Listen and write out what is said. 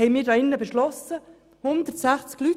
Dies beschlossen wir hier drinnen – mit 160 Leuten.